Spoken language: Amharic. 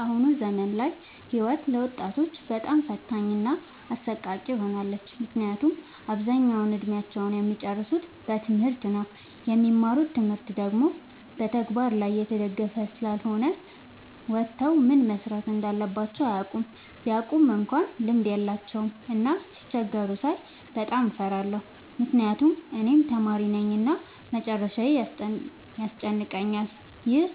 አሁን ዘመን ላይ ህይወት ለወጣቶች በጣም ፈታኝ እና አሰቃቂ ሆናለች። ምክንያቱም አብዛኛውን እድሜአቸውን እሚጨርሱት በትምህርት ነው። የሚማሩት ትምህርት ደግሞ በተግበር ላይ የተደገፈ ስላልሆነ ወተው ምን መስራት እንዳለባቸው አያውቁም። ቢያውቁ እንኳን ልምድ የላቸውም። እና ሲቸገሩ ሳይ በጣም እፈራለሁ ምክንያቱም እኔም ተማሪነኝ እና መጨረሻዬ ያስጨንቀኛል። ይህ